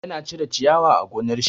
Ya na cire ciyawa a gonar shi.